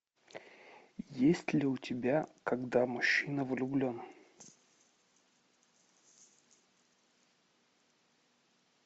есть ли у тебя когда мужчина влюблен